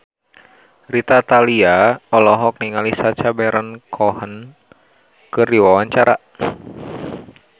Rita Tila olohok ningali Sacha Baron Cohen keur diwawancara